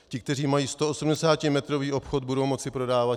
Ti, kteří mají 180metrový obchod, budou moci prodávat.